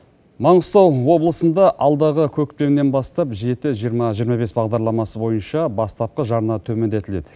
маңғыстау облысында алдағы көктемнен бастап жеті жиырма жиырма бес бағдарламасы бойынша бастапқы жарна төмендетіледі